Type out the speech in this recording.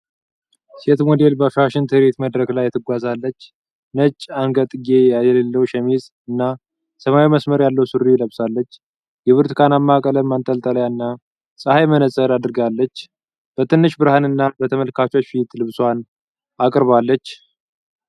ሴት ሞዴል በፋሽን ትርኢት መድረክ ላይ ትጓዛለች። ነጭ አንገትጌ የሌለው ሸሚዝ እና ሰማያዊ መስመር ያለው ሱሪ ለብሳለች። የብርቱካናማ ቀለም ማንጠልጠያ እና ፀሐይ መነጽር አድርጋለች። በትንሽ ብርሃን እና በተመልካቾች ፊት ልብሷን አቅርባለች።